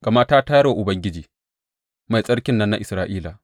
Gama ta tayar wa Ubangiji, Mai Tsarkin nan na Isra’ila.